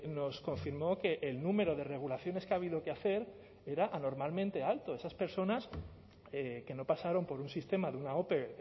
nos confirmó que el número de regulaciones que ha habido que hacer era anormalmente alto esas personas que no pasaron por un sistema de una ope